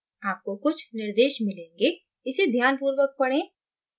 आपको कुछ निर्देश मिलेंगे इसे ध्यानपूर्वक पढ़ें